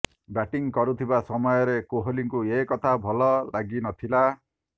batting କରୁଥିବା ସମୟରେ କୋହଲିଙ୍କୁ ଏ କଥା ଭଲ ଲାଗି ନଥିଲା